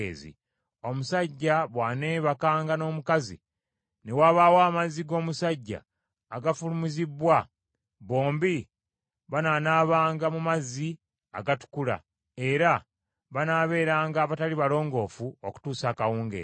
Omusajja bw’aneebakanga n’omukazi, ne wabaawo amazzi g’obusajja agafulumizibbwa, bombi banaanaabanga mu mazzi agatukula, era banaabeeranga abatali balongoofu okutuusa akawungeezi.